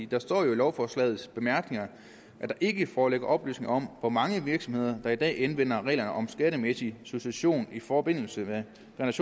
der står jo i lovforslagets bemærkninger at der ikke foreligger oplysninger om hvor mange virksomheder der i dag anvender reglerne om skattemæssig succession i forbindelse med